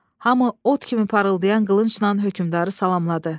Hamı ot kimi parıldayan qılıncla hökmdarı salamladı.